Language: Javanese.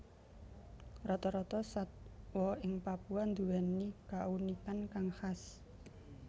Rata rata satwa ing Papua nduwèni kaunikan kang khas